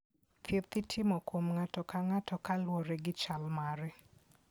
Thieth itimo kuom ng'ato ka ng'ato kaluwore gi chal mare.